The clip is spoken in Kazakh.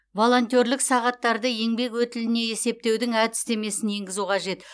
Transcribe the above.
волонтерлік сағаттарды еңбек өтіліне есептеудің әдістемесін енгізу қажет